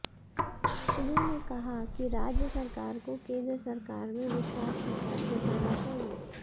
उन्होंने कहा कि राज्य सरकार को केंद्र सरकार में विश्वास जताना चाहिए